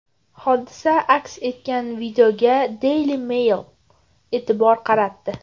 Hodisa aks etgan videoga Daily Mail e’tibor qaratdi .